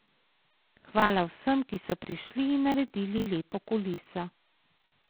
Hvala vsem, ki so prišli in naredili lepo kuliso.